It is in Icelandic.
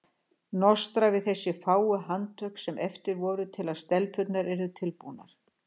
Nostra við þessi fáu handtök sem eftir voru til að stelpurnar yrðu tilbúnar.